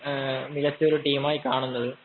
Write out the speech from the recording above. മികച്ച ഒരു ടീമായി കാണുന്നത്.